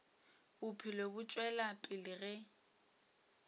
bophelo bo tšwela pele ge